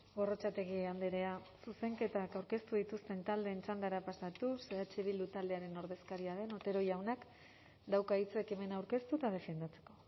gorrotxategi andrea zuzenketak aurkeztu dituzten taldeen txandara pasatuz eh bildu taldearen ordezkaria den otero jaunak dauka hitza ekimena aurkeztu eta defendatzeko